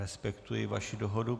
Respektuji vaší dohodu.